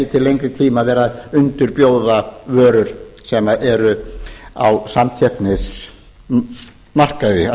til lengri tíma vera að undirbjóða vörur sem eru á samkeppnismarkaði að